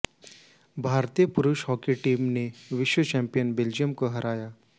भारतीय पुरुष hockey team ने विश्व चैम्पियन बेल्जियम को हराया